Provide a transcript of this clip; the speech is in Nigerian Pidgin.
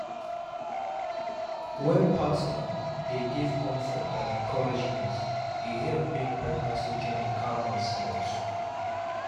wen partner dey give comfort and encouragement e help make pregnancy journey calm and smooth.